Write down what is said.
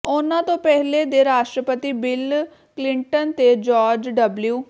ਉਨ੍ਹਾਂ ਤੋਂ ਪਹਿਲੇ ਦੇ ਰਾਸ਼ਟਰਪਤੀ ਬਿੱਲ ਕਲਿੰਟਨ ਤੇ ਜਾਰਜ ਡਬਲਿਊ